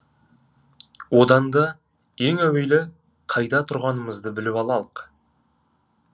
одан да ең әуелі қайда тұрғанымызды біліп алалық